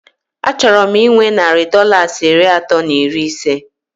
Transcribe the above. A chọrọ m inwe narị Dọlas iri atọ na iri isé